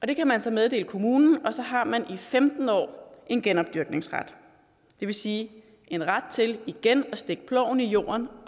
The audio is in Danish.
det kan man så meddele kommunen og så har man i femten år en genopdyrkningsret det vil sige en ret til igen at stikke ploven i jorden